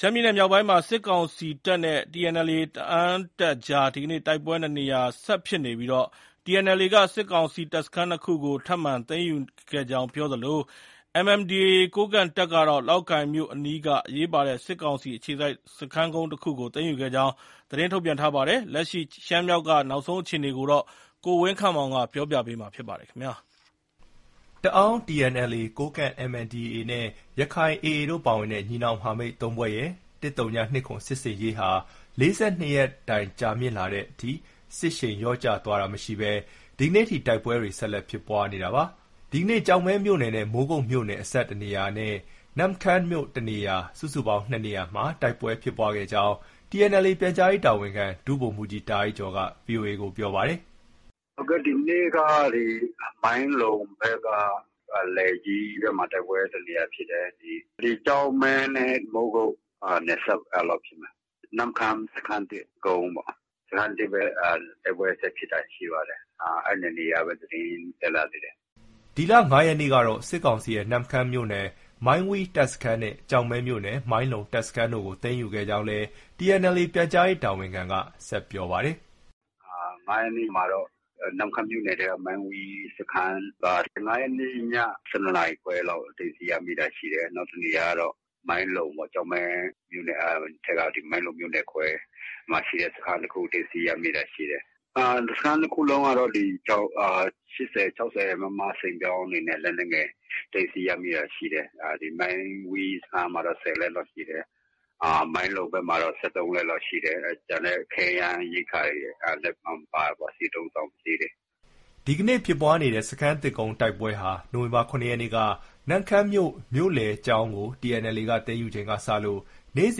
ရှမ်းပြည်နယ်မြောက်ပိုင်းမှာ စစ်ကောင်စီတပ်နဲ့ TNLA တအာင်းတပ်အကြား ဒီကနေ့ တိုက်ပွဲ ၂နေရာ ဆက်ဖြစ်နေပြီး TNLA က စစ်ကောင်စီတပ်စခန်း ၂ခုကို ထပ်မံသိမ်းယူခဲ့ကြောင်းပြောသလို MNDAA ကိုးကန့်တပ်ကတော့ လောက်ကိုင်မြို့အနီးက အရေးပါတဲ့ စစ်ကောင်စီအခြေစိုက် စခန်းကုန်းတခုကို သိမ်းယူခဲ့ကြောင်း သတင်းထုတ်ပြန်ထားပါတယ်။ လက်ရှိ ရှမ်းမြောက်ဒေသက နောက်ဆုံးအခြေအနေကို ကိုဝင်းခန့်မောင်က တင်ပြထားပါတယ်။ တအာင်း TNLA၊ ကိုးကန့် MNDAA နဲ့ ရက္ခိုင် AA တို့ ပါတဲ့ ညီနောင်မဟာမိတ်၃ဖွဲ့ရဲ့ ၁၀၂၇ စစ်ဆင်ရေးဟာ ၄၂ရက်တိုင်ကြာမြင့်လာတဲ့တိုင် စစ်ရှိန်လျော့ကျသွားတာမရှိဘဲ ဒီကနေ့ထိ တိုက်ပွဲတွေဟာ ဆက်လက် ဖြစ်ပွားနေတာပါ။ ဒီကနေ့ ကျောက်မဲမြို့နယ်နဲ့ မိုးကုတ်မြို့နယ်အစပ်တနေရာနဲ့ နမ့်ခမ်းမြို့ တနေရာ၊ စုစုပေါင်း ၂နေရာမှာ တိုက်ပွဲဖြစ်ပွားခဲ့ကြောင်း TNLA ပြန်ကြားရေးတာဝန်ခံ ဒုဗိုလ်မှူးကြီးတာအိုက်ကျော်က VOA ကို ပြောပါတယ်။ “ ဒီနေ့က မိုင်းလုံဘက်က လယ်ကြီးဘက်မှာ တိုက်ပွဲတနေရာဖြစ်တယ်။ ဒီကျောက်မဲနဲ့ မိုးကုတ်နယ်စပ်ဖြစ်မယ်။ အဲဒီတနေရာဖြစ်တယ်။ နမ့်ခမ်းစခန်းသစ်ကုန်းပေါ့။ စခန်းသစ်ဘက် တိုက်ပွဲဆက်ဖြစ်တာရှိပါတယ်။ အဲဒီ ၂နေရာပဲ သတင်းတက်လာသေးတယ်။” ဒီလ ၅ ရက်နေ့ကတော့ စစ်ကောင်စီရဲ့ နမ့်ခမ်းမြို့နယ် မိုင်းဝီးတပ်စခန်းနဲ့ ကျောက်မဲမြို့နယ် မိုင်းလုံတပ်စခန်း တို့ကို သိမ်းယူခဲ့ကြောင်းလည်း TNLA ပြန်ကြားရေးတာဝန်ခံက ဆက်ပြောပါတယ်။ “၅ ရက်နေ့ မှာတော့ နမ့်ခမ်းမြို့နယ်ထဲက မိုင်းဝီးစခန်းက ၅ရက်နေ့ ည ၁၂နာရီခွဲလောက် သိမ်းဆည်းရမိ တာရှိတယ်။ နောက်တနေရာကတော့ မိုင်းလုံပေါ့။ ကျောက်မဲမြို့နယ်ထဲက ဒီမိုင်းလုံမြို့နယ်ခွဲ မှာရှိတဲ့ စခန်းတခု သိမ်းဆည်းရမိတာ ရှိတယ်။ စခန်း ၂ ခုလုံးကတော့ ၈၀၊ ၆၀ မမစိန်ပြောင်းတွေနဲ့ လက်နက်ငယ် သိမ်းဆည်းရမိ တာရှိတယ်။ မိုင်းဝီးစခန်းမှာတော့ ၁၀ လက် လောက်ရှိတယ်။ မိုင်းလုံဘက်မှာတော့ ၁၃ လက် လောက်ရှိတယ်။ ကျန်တဲ့ ခဲယမ်းရိက္ခာတွေလည်း ပါတာပေါ့။ စစ်အသုံးအဆောင်ပစ္စည်းတွေ။” ဒီကနေ့ ဖြစ်ပွားနေတဲ့ စခန်းသစ်ကုန်း တိုက်ပွဲဟာ နိုဝင်ဘာလ ၇ရက်နေ့က နမ့်ခမ်းမြို့ မြို့လယ်ကျောင်းကို TNLA က သိမ်းယူပြီးချိန်က စလို့ နေ့စ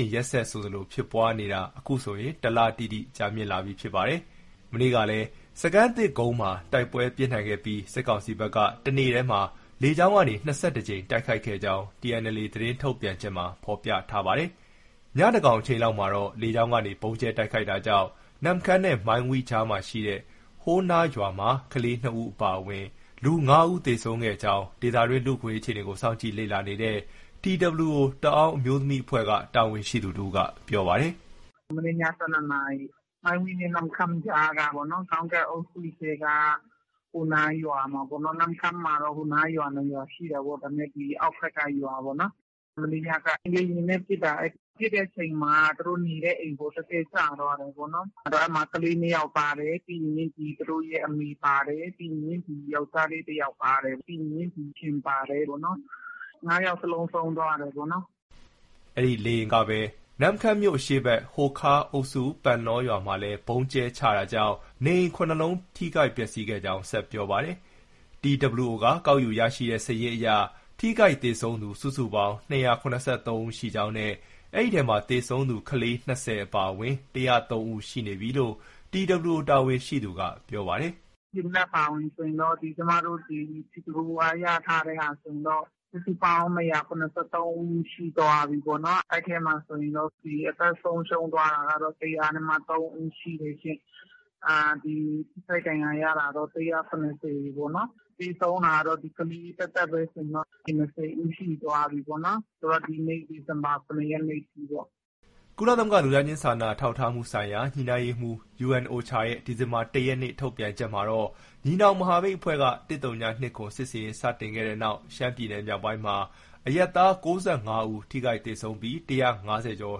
ဉ်ရက်ဆက်ဆိုသလို ဖြစ်ပွားနေတာဟာ အခုဆို တလတိတိ ကြာမြင့်လာပြီဖြစ်ပါတယ်။ မနေ့ ကလည်း စခန်းသစ်ကုန်းမှာ တိုက်ပွဲပြင်းထန်ခဲ့ပြီး စစ်ကောင်စီဘက်က တနေ့တည်း လေကြောင်းက ၂၁ ကြိမ် တိုက်ခိုက်ခဲ့ကြောင်း TNLA သတင်းထုတ်ပြန်ချက်မှာ ဖော်ပြထားပါတယ်။ ညသန်းခေါင် အချိန် လောက် မှာတော့ လေကြောင်းကနေ ဗုံးကြဲတိုက်ခိုက်တာကြောင့် နမ့်ခမ်းနဲ့ မိုင်းဝီးအကြားရှိ ဟိုနားရွာမှာ ကလေး ၂ဦး အပါအဝင် လူ ၅ယောက် သေဆုံးခဲ့ကြောင်း ဒေသတွင်း လူ့အခွင့်အရေးအခြေအနေကို စောင့်ကြည့် လေ့လာနေတဲ့ TWO တအာင်းအမျိုးသမီးအဖွဲ့က တာဝန်ရှိသူတဦးက ပြောပါတယ်။ “ မနေ့ညက ၁၂နာရီ မိုင်းဝီးနဲ့ နမ့်ခမ်းကြားက ကောင်းတပ်အုပ်စုထဲက ဟိုနားရွာမှာ၊ နမ့်ခမ်းမှာတော့ ဟိုနားရွာ ၂ရွာရှိတာပေါ့။ ဒါပေမဲ့ အောက်ဖက်က ရွာပေါ့။ မနေ့ညက လေယာဉ်နဲ့ ပစ်တာ။ ပစ်တဲ့အချိန်မှာ သူတို့ အိမ်ပေါ် တည့်တည့်ကျသွားတယ်ပေါ့နော်။ အဲဒီမှာ ကလေး ၂ယောက်ပါတယ်။ ပြီးရင် သူတို့ အမေပါတယ်။ ပြီးရင် ယောက်ျားလေး တယောက်ပါတယ်။ ပြီးရင် အိမ်ရှင် ပါတယ်ပေါ့နော်။ ၅ယောက်စလုံး ဆုံးသွားတယ်ပေါ့နော်။ ” အဲဒီလေယာဉ်ကပဲ နမ့်ခမ်းမြို့ အရှေ့ဘက်က ဟိုခါးအုပ်စု ပန်လောရွာ မှာလည်း ဗုံးကြဲချတာကြောင့် နေအိမ် ၇လုံး ထိခိုက်ပျက်ဆီးခဲ့ကြောင်း ဆက်ပြောပါတယ်။ TWO က ကောက်ယူရရှိတဲ့ စာရင်းအရ ထိခိုက်၊ သေဆုံးသူ စုစုပေါင်း ၂၇၃ ဦး ရှိကြောင်းနဲ့ အဲဒီအထဲမှာ သေဆုံးသူက ကလေး ၂၀ ဦး အပါအဝင် ၁၀၃ ဦး ရှိနေပြီ လို့ TWO တာဝန်ရှိသူက ပြောပါတယ်။ “ ဒီမနက် အပါအဝင်ဆိုရင်တော့ ကျမတို့ TWO က ရထားတာ ဆိုရင်တော့ စုစုပေါင်း ၂၇၃ဦးရှိသွားပြီ။ အဲဒီထဲမှာဆိုရင် အသက်ဆုံးရှုံးသွားတာက ၁၀၃ဦးရှိတယ်ရှင့်။ ထိခိုက်ဒဏ်ရာရတာတော့ ၁၇၀ ပေါ့နော်။ သေဆုံးတာကတော့ ကလေး သက်သက်ပဲ ဆိုရင်တော့ ၂၀ဦးရှိသွားပြီပေါ့နော်။ ဆိုတော့ ဒီနေ့ ဒီဇင်ဘာ ၇ရက်နေ့အထိပေါ့နော်။” ကုလသမဂ္ဂ လူသားချင်းစာနာထောက်ထားမှုဆိုင်ရာ ညှိနှိုင်းရေးရုံး UNOCHA ရဲ့ ဒီဇင်ဘာလ ၁ ရက်နေ့ ထုတ်ပြန်ချက်မှာတော့ ညီနောင်မဟာမိတ်အဖွဲ့က ၁၀၂၇ စစ်ဆင်ရေးစတင်ခဲ့တဲ့နောက် ရှမ်းပြည်နယ် မြောက်ပိုင်းမှာ အရပ်သား ၉၅ဦး ထိခိုက်သေဆုံးပြီး ၁၅၀ကျော်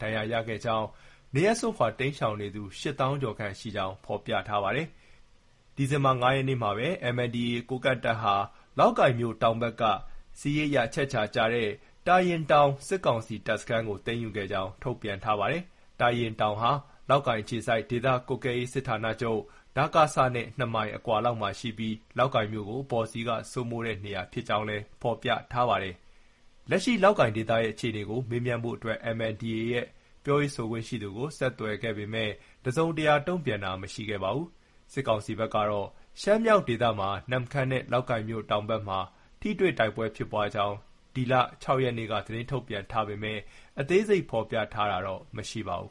ဒဏ်ရာရခဲ့ကြောင်းနဲ့ နေရပ်စွန့်ခွာ တိမ်းရှောင်နေသူ ၈ သောင်းကျော်ခန့်ရှိကြောင်း ဖော်ပြထားပါတယ်။ ဒီဇင်ဘာလ ၅ရက် နေ့မှာပဲ MNDAA ကိုးကန့်တပ်က လောက်ကိုင်မြို့ တောင်ဘက်က စစ်ရေးအရ အချက်အချာကျတဲ့ တာရင်တောင် စစ်ကောင်စီတပ်စခန်းကို သိမ်းယူခဲ့ကြောင်း ထုတ်ပြန်ထားပါတယ်။ တာရင်တောင်ဟာ လောက်ကိုင်အခြေစိုက် ဒေသကွပ်ကဲရေးစစ်ဌာနချုပ် နဲ့ ၂မိုင် အကွာ လောက်မှာ ရှိပြီး လောက်ကိုင်မြို့ကို အပေါ်စီးက စိုးမိုးထားတဲ့နေရာ ဖြစ်ကြောင်းလည်း ဖော်ပြထားပါတယ်။ လက်ရှိ လောက်ကိုင်ဒေသရဲ့ အခြေအနေကို မေးမြန်းဖို့အတွက် MNDAA ရဲ့ ပြောရေးဆိုခွင့်ရှိသူကို ဆက်သွယ်ခဲ့ပေမဲ့ တစုံတရာ တုံ့ပြန်တာ မရှိခဲ့ပါဘူး။ စစ်ကောင်စီဘက်ကတော့ ရှမ်းမြောက်ဒေသမှာ နမ့်ခမ်းနဲ့ လောက်ကိုင်မြို့တောင်ဘက်မှာ ထိတွေ့ တိုက်ပွဲဖြစ်ပွားကြောင်း ဒီလ ၆ရက်နေ့က သတင်းထုတ်ပြန်ထားပေမယ့် အသေးစိတ်ဖော်ပြတာတော့ မရှိပါဘူး